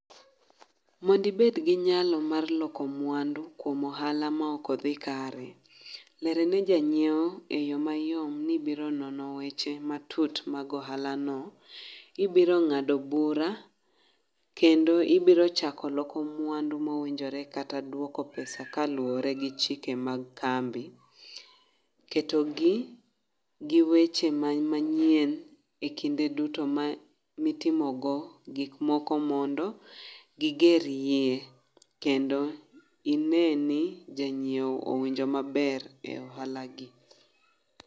Mondibed gi nyalo mar loko mwandu kuom ohala ma ok odhi kare, lere ne janyiewo e yo mayom ni ibiro nono weche matut mag ohala no. Ibiro ng'ado bura kendo ibiro chako loko mwandu mowinjore kata dwoko pesa kaluwore gi chike mag kambi. Ketogi gi weche ma manyien e kinde duto ma mitimogo gik moko mondo gigeriye. Kendo ine ni janyiewo owinjo maber e ohala gi.